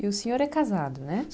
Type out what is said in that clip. E o senhor é casado, né?